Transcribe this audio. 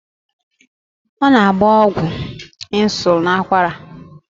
Ọ na-agba ọgwụ ịnsulịn n'akwara.